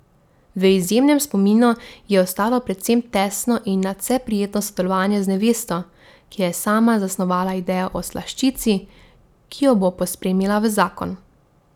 V izjemnem spominu ji je ostalo predvsem tesno in nadvse prijetno sodelovanje z nevesto, ki je sama zasnovala idejo o slaščici, ki jo bo pospremila v zakon.